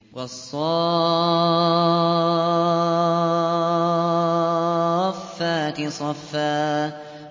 وَالصَّافَّاتِ صَفًّا